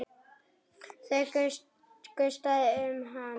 Það gustaði um hann.